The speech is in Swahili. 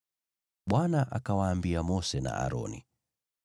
Bwana akawaambia Mose na Aroni,